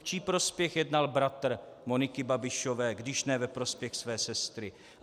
V čí prospěch jednal bratr Moniky Babišové, když ne ve prospěch své sestry?